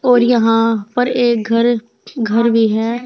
और यहां पर एक घर घर भी है।